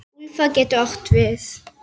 Úlfar getur átt við